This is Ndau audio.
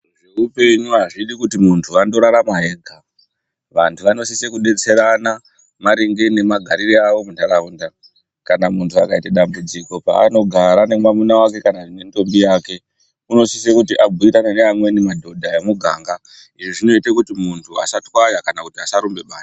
Zveupenyu azvidi kuti muntu andorarama ega, vantu vanosise kudetserana maringe ngemagariro avo muntaraunda kana muntu akaita dambudziko paanogara nemwamuna wake kana nentombi yake unosisa kuti abhuyirana nemamweni madhodha emuganga. Izvi zvinoita kuti muntu asatwaya kana asarumbe bani.